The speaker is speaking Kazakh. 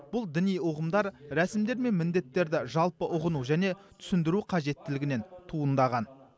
бұл діни ұғымдар рәсімдер мен міндеттерді жалпы ұғыну және түсіндіру қажеттілігінен туындаған